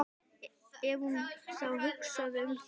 Ef hún þá hugsaði um það.